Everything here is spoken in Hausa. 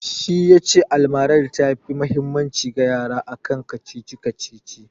Shi ya ce almara ta fi mahimmanci ga yara akan kacici-kacici